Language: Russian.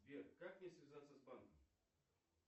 сбер как мне связаться с банком